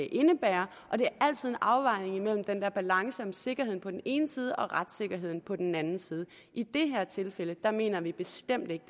indebærer og det er altid en afvejning af den balance sikkerheden på den ene side og retssikkerheden på den anden side i det her tilfælde mener vi bestemt ikke